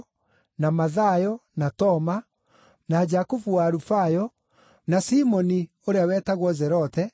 na Mathayo, na Toma, na Jakubu wa Alufayo, na Simoni ũrĩa wetagwo Zelote,